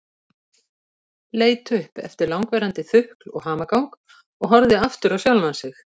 Leit upp eftir langvarandi þukl og hamagang og horfði aftur á sjálfan sig.